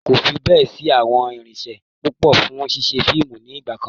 Kò fi bẹ́ẹ̀ sí àwọn irinṣẹ́ púpò fún ṣíṣe fíìmù ni ìgbàkan.